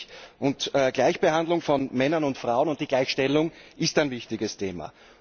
Die Gleichbehandlung von Männern und Frauen und die Gleichstellung ist ein wichtiges Thema.